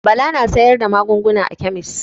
Bala na sayar da magunguna a kemis.